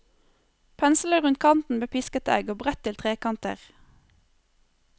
Pensle rundt kanten med pisket egg og brett til trekanter.